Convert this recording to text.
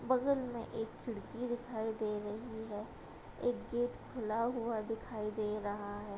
बगल में एक खिड़की दिखाई दे रही है | एक गेट खुला हुआ दिखाई दे रहा है |